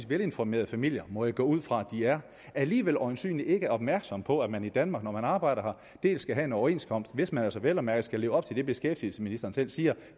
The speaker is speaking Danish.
velinformerede familier må jeg gå ud fra at de er alligevel øjensynlig ikke er opmærksom på at man i danmark når man arbejder her skal have en overenskomst hvis man altså vel at mærke skal leve op til det beskæftigelsesministeren selv siger